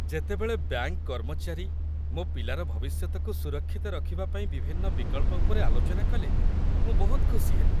ଯେତେବେଳେ ବ୍ୟାଙ୍କ କର୍ମଚାରୀ ମୋ ପିଲାର ଭବିଷ୍ୟତକୁ ସୁରକ୍ଷିତ ରଖିବା ପାଇଁ ବିଭିନ୍ନ ବିକଳ୍ପ ଉପରେ ଆଲୋଚନା କଲେ, ମୁଁ ବହୁତ ଖୁସି ହେଲି।